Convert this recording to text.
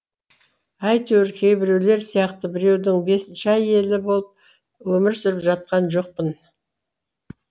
әйтеуір кейбіреулер сияқты біреудің бесінші әйелі болып өмір сүріп жатқан жоқпын